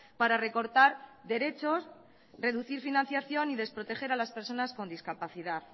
para recortar derechos reducir financiación y desproteger a las personas con discapacidad